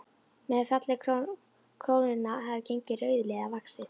Með falli krónunnar hefði gengi rauðliða vaxið.